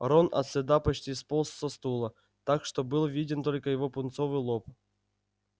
рон от стыда почти сполз со стула так что был виден только его пунцовый лоб